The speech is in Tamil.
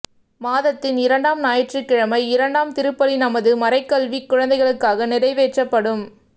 மாதத்தின் இரண்டாம் ஞாயிற்றுக்கிழமை இரண்டாம் திருப்பலி நமது மறைக்கல்வி குழந்தைகளுக்காக நிறைவேற்றப்படும்